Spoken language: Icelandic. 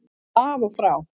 Af og frá